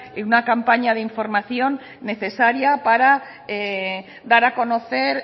una campaña de información necesaria para dar a conocer